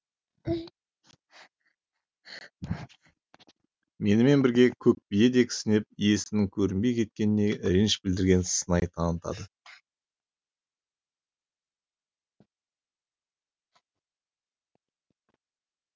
менімен бірге көк бие де кісінеп иесінің көрінбей кеткеніне реніш білдірген сыңай танытады